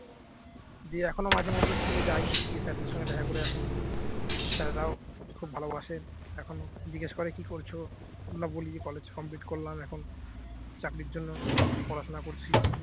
দিয়ে এখনো মাঝেমধ্যে school যাই গিয়ে sir দের সঙ্গে দেখা করে আসি sir রাও খুব ভালোবাসেন এখনো জিজ্ঞেস করে কি করছো? আমরা বলি college complete করলাম এখন চাকরির জন্য পড়াশোনা করছি